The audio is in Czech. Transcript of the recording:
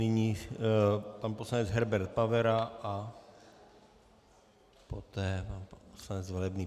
Nyní pan poslanec Herbert Pavera a poté pan poslanec Velebný.